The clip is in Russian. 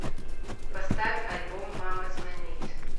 поставь альбом мама звонит